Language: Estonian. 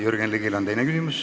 Jürgen Ligil on teine küsimus.